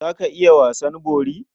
Za ka iya wasan bori?